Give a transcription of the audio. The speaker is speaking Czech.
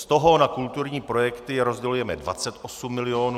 Z toho na kulturní projekty rozdělujeme 28 milionů.